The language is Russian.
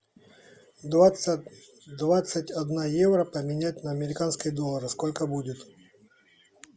двадцать двадцать одна евро поменять на американские доллары сколько будет